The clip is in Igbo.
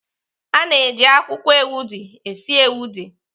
A na-eji akwụkwọ ewedu esi ewedu.